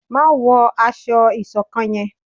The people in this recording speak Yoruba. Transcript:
má wọ aṣọ ìṣọ̀kan yén!